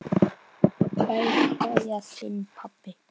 Kær kveðja, þinn pabbi.